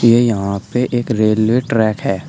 ये यहां पे एक रेलवे ट्रैक है।